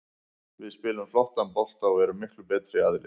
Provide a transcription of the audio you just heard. Við spilum flottan bolta og erum miklu betri aðilinn.